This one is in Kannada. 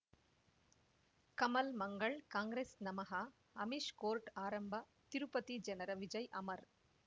ಕಮಲ್ ಮಂಗಳ್ ಕಾಂಗ್ರೆಸ್ ನಮಃ ಅಮಿಷ್ ಕೋರ್ಟ್ ಆರಂಭ ತಿರುಪತಿ ಜನರ ವಿಜಯ್ ಅಮರ್